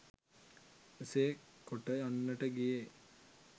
එසේ කොට යන්නට ගියේ